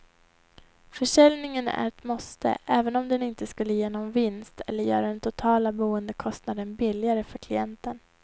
Försäljningen är ett måste även om den inte skulle ge någon vinst eller göra den totala boendekostnaden billigare för klienten.